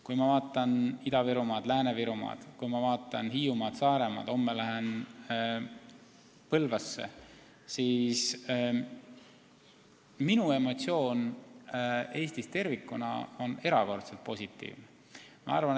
Kui ma vaatan Ida-Virumaad, Lääne-Virumaad, Hiiumaad või Saaremaad – homme lähen Põlvasse –, siis Eestis tervikuna on minu emotsioonid erakordselt positiivsed.